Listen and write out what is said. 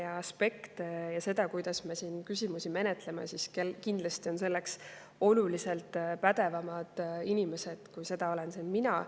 kuidas me siin küsimusi menetleme, on kindlasti oluliselt pädevamaid inimesi, kui seda olen mina.